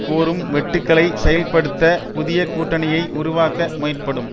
கோரும் வெட்டுக்களை செயல்படுத்த புதிய கூட்டணியை உருவாக்க முயற்படும்